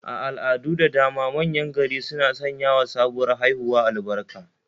A al'adu da dama manyan gari suna sanyawa sabuwar haihuwa albarka